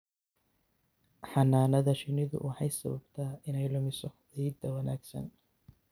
Xannaanada shinnidu waxay sababtaa inay lumiso ciidda wanaagsan.